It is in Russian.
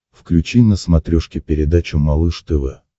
включи на смотрешке передачу малыш тв